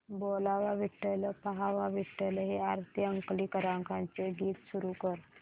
बोलावा विठ्ठल पहावा विठ्ठल हे आरती अंकलीकरांचे गीत सुरू कर